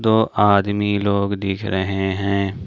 दो आदमी लोग दिख रहे हैं।